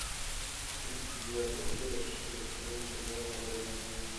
тридцать девятая серия шестой сезон сериала родина